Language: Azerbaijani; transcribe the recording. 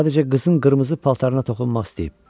Sadəcə qızın qırmızı paltarına toxunmaq istəyib.